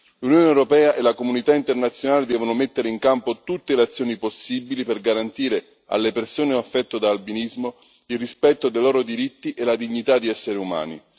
L'Unione europea e la comunità internazionale devono mettere in campo tutte le azioni possibili per garantire alle persone affette da albinismo il rispetto dei loro diritti e la dignità di essere umani.